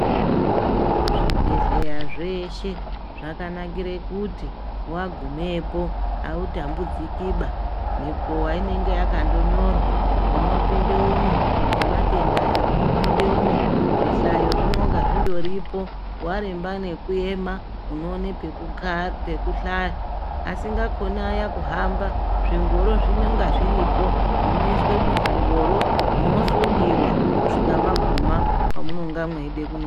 Zvibhedhleya zveshe zvakanakire kuti wagumepo autambudzikiba ,mikowa inenge yakandonyorwa ,munopinde umwu ematenda aya munopinde umwu zvihlayo zvinonga zvindoripo waremba nekuema unoona pekuhlaya. Asingakoni aya kuhamba zvingoro zvinonga zviripo munoiswe muzvingoro mosundiwa kusvika mwaguma kwamunonga mweide kuno